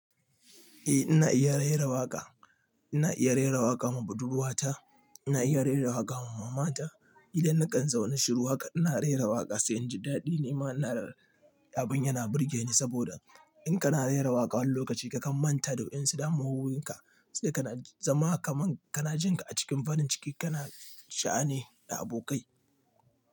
Eh ina iya rera waƙa, ina iya rera waƙa ma buduruwata, ina iya rera waƙa ma mama ta. Idan na kan zaune shiru haƙa ina rera waƙa sai in ji daɗi. Ni ma ina da abun yana burge ni saboda in kana rera waƙa wani lokaci kakan manta da wayansu damuwowin ka sai kana zama kaman kana jin ka a cikin farin ciki kana sha'ani da abokai.